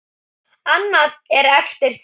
Annað er eftir því.